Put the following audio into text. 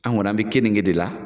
An kɔni an bɛ kenige de la.